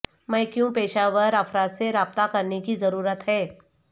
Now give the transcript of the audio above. میں کیوں پیشہ ور افراد سے رابطہ کرنے کی ضرورت ہے